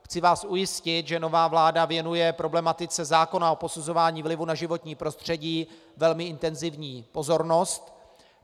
Chci vás ujistit, že nová vláda věnuje problematice zákona o posuzování vlivu na životní prostředí velmi intenzivní pozornost.